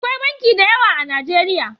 Akwai banki da yawa a najeriya